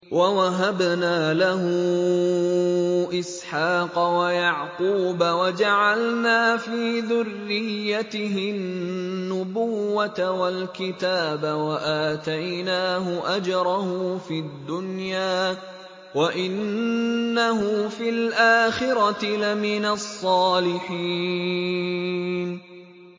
وَوَهَبْنَا لَهُ إِسْحَاقَ وَيَعْقُوبَ وَجَعَلْنَا فِي ذُرِّيَّتِهِ النُّبُوَّةَ وَالْكِتَابَ وَآتَيْنَاهُ أَجْرَهُ فِي الدُّنْيَا ۖ وَإِنَّهُ فِي الْآخِرَةِ لَمِنَ الصَّالِحِينَ